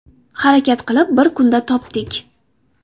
Harakat qilib bir kunda topdik.